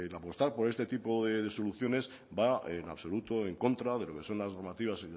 apostar por este tipo de soluciones va en absoluto en contra de lo que son las normativas